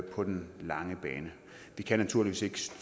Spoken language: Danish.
på den lange bane vi kan naturligvis ikke